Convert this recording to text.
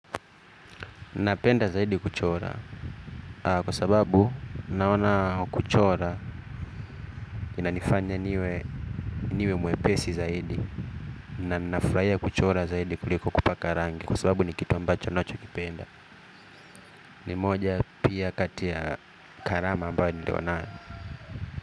Napenda zaidi kuchora kwa sababu naona kuchora ina nifanya niwe niwe mwepesi zaidi na nafurahia kuchora zaidi kuliko kupaka rangi kwa sababu ni kitu ambacho nacho kipenda ni moja pia kati ya karama ambayo nilio na yo.